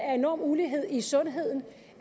er enorm ulighed i sundheden